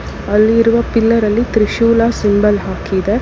ಅಲ್ಲಿರುವ ಪಿಲ್ಲರ್ ಅಲ್ಲಿ ತ್ರಿಶೂಲ ಸಿಂಬಲ್ ಹಾಕಿದೆ.